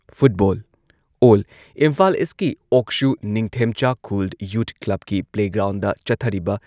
football all- Imphal ꯏꯁꯀꯤ ꯑꯣꯛꯁꯨ Ningthemchakhul youth ꯀ꯭ꯂꯕꯀꯤ ꯄ꯭ꯂꯦꯒ꯭ꯔꯥꯎꯟꯗ ꯆꯠꯊꯔꯤꯕ